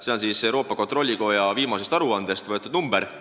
See on Euroopa Kontrollikoja viimasest aruandest võetud arv.